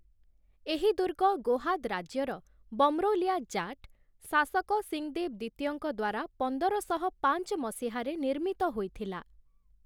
ଏହି ଦୁର୍ଗ ଗୋହାଦ୍ ରାଜ୍ୟର 'ବମ୍ରୌଲିୟା ଜାଟ୍' ଶାସକ 'ସିଙ୍ଗନ୍ଦେଭ୍ ଦ୍ଵିତୀୟ'ଙ୍କ ଦ୍ଵାରା ପନ୍ଦର ଶହ ପାଞ୍ଚ ମସିହାରେ ନିର୍ମିତ ହୋଇଥିଲା ।